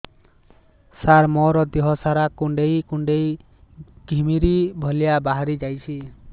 ସାର ମୋର ଦିହ ସାରା କୁଣ୍ଡେଇ କୁଣ୍ଡେଇ ଘିମିରି ଭଳିଆ ବାହାରି ଯାଉଛି